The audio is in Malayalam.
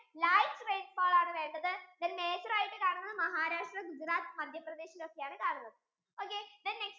light rainfall ആണ് വേണ്ടത് then major ആയിട്ട് കാണുന്നത് Maharashtra, Gujarat, MadhyaPradesh യിൽ ഒക്കെ ആണ് കാണുന്നത് okay then next